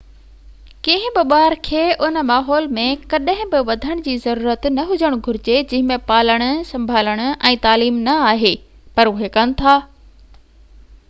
ڪنهن بہ ٻار کي ان ماحول ۾ ڪڏهن بہ وڌڻ جي ضرورت نہ هجڻ گهرجي جنهن ۾ پالڻ سڀالڻ ۽ تعليم نہ آهي پر اهي ڪن ٿا